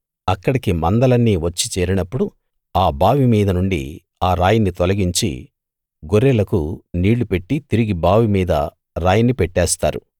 అక్కడికి మందలన్నీ వచ్చి చేరినప్పుడు ఆ బావి మీద నుండి ఆ రాయిని తొలగించి గొర్రెలకు నీళ్ళు పెట్టి తిరిగి బావి మీద రాయిని పెట్టేస్తారు